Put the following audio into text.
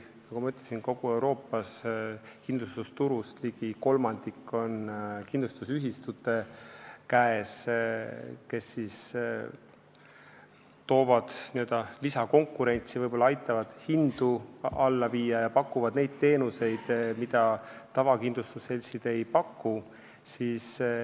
Nagu ma ütlesin, kogu Euroopas on kindlustusturust ligi kolmandik kindlustusühistute käes, kes toovad lisakonkurentsi, võib-olla aitavad hindu alla viia ja pakuvad neid teenuseid, mida tavakindlustusseltsid ei paku.